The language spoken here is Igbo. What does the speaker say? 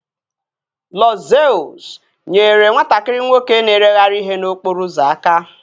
Lọd Zeus nyere nwatakịrị nwoke na-ereghari ihe n'okporo ụzọ aka